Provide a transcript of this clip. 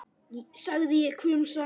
sagði ég hvumsa.